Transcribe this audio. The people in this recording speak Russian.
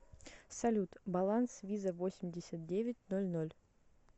салют баланс виза восемьдесят девять ноль ноль